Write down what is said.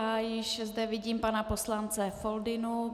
A již zde vidím pana poslance Foldynu.